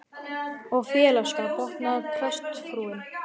Og félagsskap, botnaði prestsfrúin.